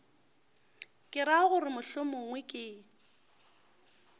ke ra gore mohlomongwe ke